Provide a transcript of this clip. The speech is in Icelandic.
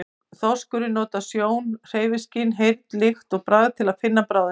Þorskurinn notar sjón, hreyfiskyn, heyrn, lykt og bragð til að finna bráðina.